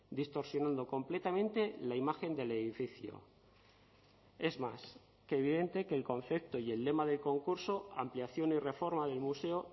distorsionando completamente la imagen del edificio es más que evidente que el concepto y el lema de concurso ampliación y reforma del museo